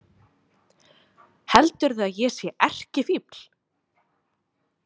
Heldurðu að ég sé erkifífl?